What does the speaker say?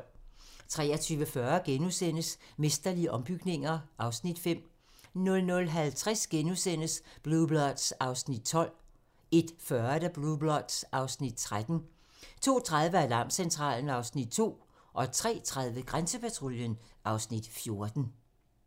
23:40: Mesterlige ombygninger (Afs. 5)* 00:50: Blue Bloods (Afs. 12)* 01:40: Blue Bloods (Afs. 13) 02:30: Alarmcentralen (Afs. 2) 03:30: Grænsepatruljen (Afs. 14)